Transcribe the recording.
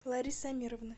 ларисы амировны